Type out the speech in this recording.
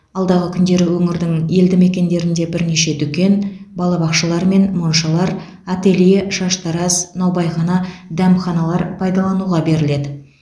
алдағы күндері өңірдің елді мекендерінде бірнеше дүкен балабақшалар мен моншалар ателье шаштараз наубайхана дәмханалар пайдалануға беріледі